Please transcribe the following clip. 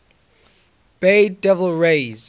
bay devil rays